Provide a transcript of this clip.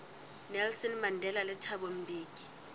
nelson mandela le thabo mbeki